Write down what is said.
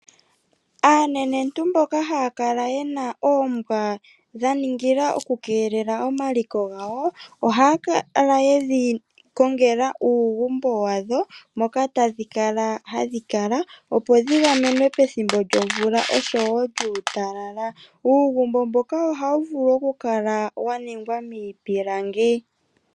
Aanenentu mboka hapakala yena oombwa dhaningila okukelela omaliko gawo, ohaakala yedhikongela uugumbo wadho moka tadhikala hadhikala opo dhi yamenwe pethimbo lyo mvula oshowo lyuutalala, uugumbo mboka ohauvulu okukala waningwa miipilangi.